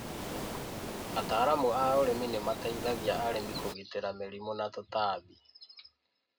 Ataraamu a ũrĩmi ni mateithagia arĩmi kũgitĩra mĩrimũ na tũtambi